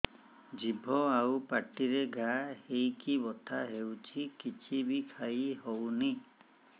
ଜିଭ ଆଉ ପାଟିରେ ଘା ହେଇକି ବଥା ହେଉଛି କିଛି ବି ଖାଇହଉନି